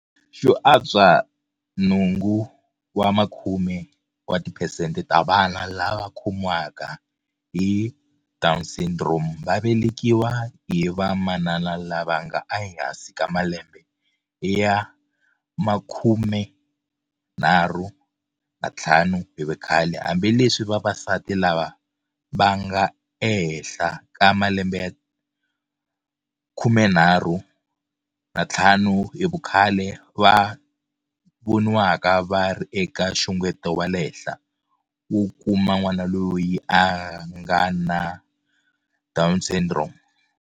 Xo antswa 80 wa tiphesente ta vana lava va khomiwaka hi DS va velekiwa hi va manana lava nga ehansi ka malembe ya 35 hi vukhale, hambileswi vavasati lava va nga ehenhla ka malembe ya 35 hi vukhale va voniwaka va ri eka nxungeto wa le henhla wo kuma n'wana loyi a nga na DS.